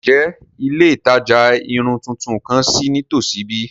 Njẹ ile itaja irun tuntun kan ṣii nitosi bi?